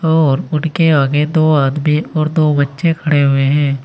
और उनके आगे दो आदमी और दो बच्चे खड़े हुए हैं।